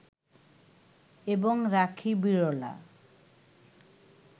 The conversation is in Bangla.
এবং রাখি বিড়লা